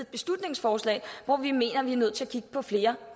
beslutningsforslag hvor vi mener at vi er nødt til at kigge på flere